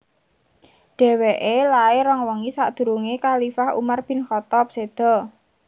Dhèwèké lair rong wengi sakdurungé khalifah Umar bin Khaththab séda